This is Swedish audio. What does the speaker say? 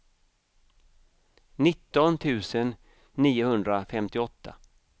nitton tusen niohundrafemtioåtta